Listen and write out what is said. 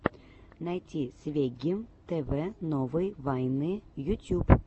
найти свегги тв новые вайны ютьюб